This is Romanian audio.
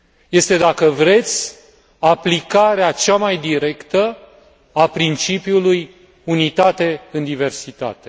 Este, dacă vreți, aplicarea cea mai directă a principiului unitate în diversitate.